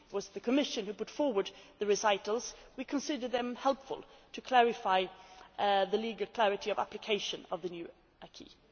The Commission proposal put forward the recitals. We considered them helpful to clarify the legal clarity of application of the new